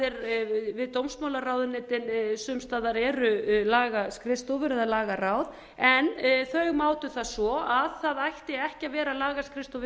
er við dómsmálaráðuneytin sums staðar eru lagaskrifstofur eða lágaráð en þau mátu það svo að það ætti ekki að vera lagaskrifstofa við